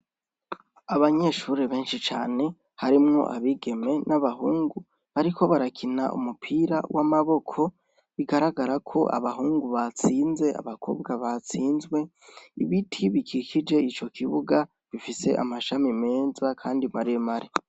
Abanyeshuri benshi cane harimwo abigeme n'abahungu, ariko barakina umupira w'amaboko bigaragara ko abahungu batsinze abakobwa batsinzwe ibiti bigikije ico kibuga bifise amashami meza, kandi maremare.